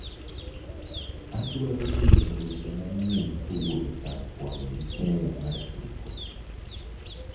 Adwaro winjo weche manyien kowuok ekar fwambo gi keyo mar tuko